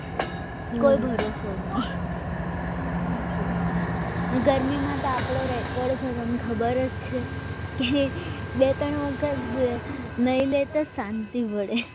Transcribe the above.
બરાબર કોઈ ભરોસો નહીં ગરમીમાં તો આપણો રેકોર્ડ છે તને ખબર છે બે ત્રણ વખત તો શાંતિ વધે